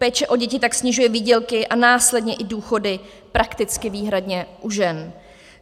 Péče o děti tak snižuje výdělky a následně i důchody prakticky výhradně u žen.